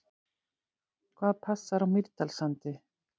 Hvað passar á Mýrdalssandi?